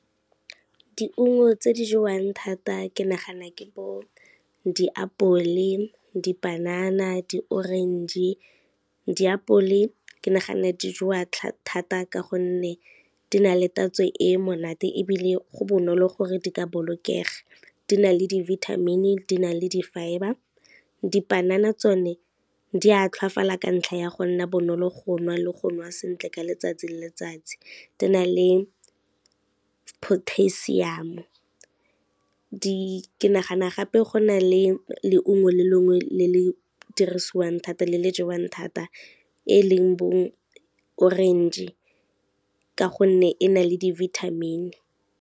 Diungo tse di jewang thata ke nagana ke diapole, dipanana, di-orange. Diapole ke nagana di jewa thata ka gonne, di na le tatso e monate ebile go bonolo gore di ka bolokega, di na le di-vitamin, di na le di-fibre. Dipanana tsone di a tlhwafala ka ntlha ya go nna bonolo go nwa le go nwa sentle ka letsatsi le letsatsi, di na le potassium, ke nagana gape go na le leungo le lengwe le le dirisiwang thata, le le jewang thata e leng bo-orange ka gonne e na le di-vitamin.